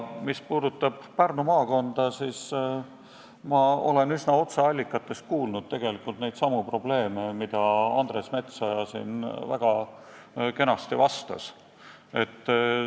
Mis puudutab Pärnu maakonda, siis ma olen otseallikatest kuulnud tegelikult neidsamu probleeme, millest Andres Metsoja siin väga kenasti rääkis.